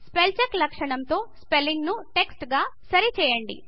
spell check లక్షణం తో spelling ను టెక్స్ట్ గా సరి చేయండి